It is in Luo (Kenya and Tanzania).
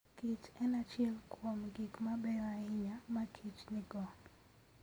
Kich en achiel kuom gik mabeyo ahinya ma kich nigo.